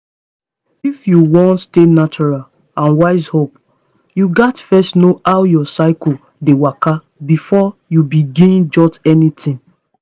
f you wan stay natural and wise up you gats first know how your cycle dey waka before you begin jot anything.